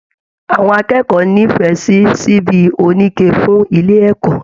Àwọn akẹ́kọ̀ọ́ n'ifẹ sí síbí onike fún ilé ẹkọ.